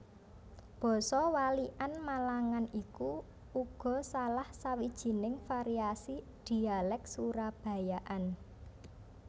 Basa Walikan Malangan iku uga salah sawijining variasi Dhialèk Surabayaan